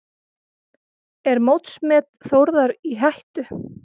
Er mótsmet Þórðar í hættu?